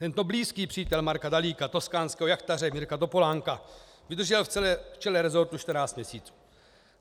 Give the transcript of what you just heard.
Tento blízký přítel Marka Dalíka, toskánského jachtaře Mirka Topolánka, vydržel v čele resortu 14 měsíců.